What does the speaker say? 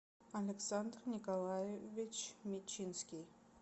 александр николаевич мечинский